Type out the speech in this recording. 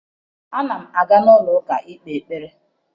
Ana m aga n'ụlọụka ikpe ekpere